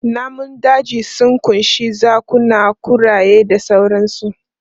Namun daji sun ƙunshi zakuna, kuraye da sauransu.